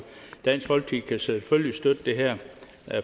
dansk folkeparti kan selvfølgelig støtte det her